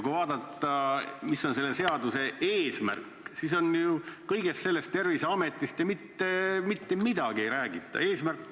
Kui vaadata, mis on selle seaduse eesmärk, siis kõigest sellest, Terviseametist, mitte midagi ei räägita.